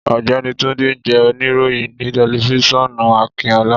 Ọ̀gbẹ́ni Túndé jẹ́ òníròyìn ni tẹlifiṣionu Akinọlá